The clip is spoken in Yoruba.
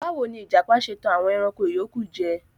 Bawo ni ijapa ṣe tan awọn ẹranko iyoku jẹ?